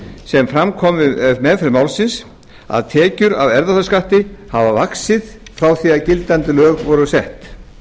sem fram kom við meðferð málsins að tekjur af erfðafjárskatti hafa vaxið frá því að gildandi lög voru sett